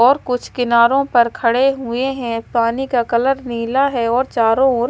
और कुछ किनारों पर खड़े हुए हैं पानी का कलर नीला है और चारों ओर--